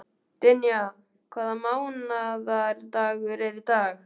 Dynja, hvaða mánaðardagur er í dag?